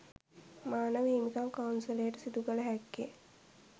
මානව හිමිකම් කවුන්සලයට සිදු කළ හැක්කේ